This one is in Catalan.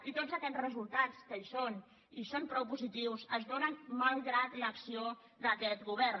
i tots aquests resultats que hi són i són prou positius es donen malgrat l’acció d’aquest govern